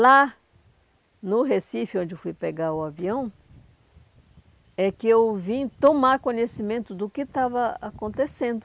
Lá no Recife, onde eu fui pegar o avião, é que eu vim tomar conhecimento do que estava acontecendo.